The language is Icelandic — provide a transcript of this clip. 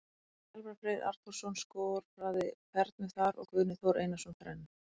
Elvar Freyr Arnþórsson skoraði fernu þar og Guðni Þór Einarsson þrennu.